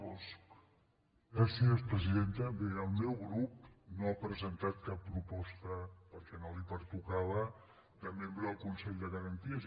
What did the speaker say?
bé el meu grup no ha presentat cap proposta perquè no li pertocava de membre del consell de garanties